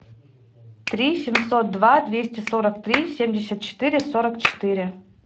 три семьсот два двести сорок три семьдесят четыре сорок четыре